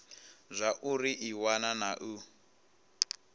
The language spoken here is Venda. zwauri i wana na u